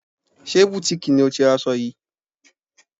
Ṣé butiiki lo ti ra aṣọ yìí?